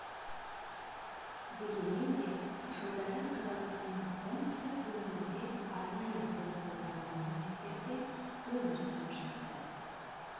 дегенмен де жылдары қазақстанның оңтүстік өңірінде арнайы қоныс аударылған немістер де өмір сүріп жатты